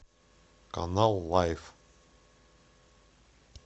канал лайф